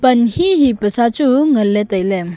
ann hee hee pasachu nganlay tailay.